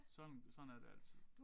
Sådan sådan er det altid